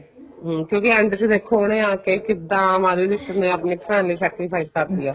ਹੁਣ ਕਿਉਂਕਿ end ਚ ਦੇਖੋ ਕੇ ਕਿੱਦਾਂ ਮਾਧੁਰੀ ਦਿਕਸ਼ਿਤ ਨੇ ਆਪਣੀ family sacrifice ਕਰਤੀ ਆ